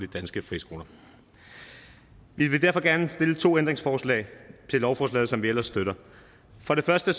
danske friskoler vi vil derfor gerne stille to ændringsforslag til lovforslaget som vi ellers støtter for det første